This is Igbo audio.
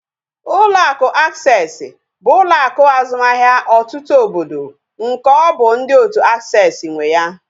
Ụlọ akụ Aksesị bụ ụlọ akụ azụmahịa ọtụtụ obodo nke ọ bụ ndị otu aksesị nwe ya